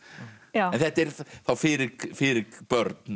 þetta er þá fyrir fyrir börn